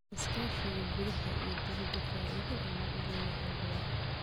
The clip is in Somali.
Iskaashi gudaha iyo dibadaba faa'iido ayuu u leeyahay beeraha.